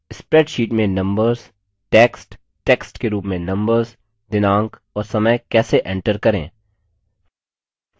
spreadsheet में numbers text text के रूप में numbers दिनांक और समय कैसे enter करें